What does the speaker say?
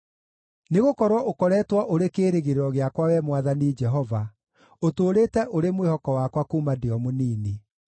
Nĩgũkorwo ũkoretwo ũrĩ kĩĩrĩgĩrĩro gĩakwa, Wee Mwathani Jehova, ũtũũrĩte ũrĩ mwĩhoko wakwa kuuma ndĩ o mũnini.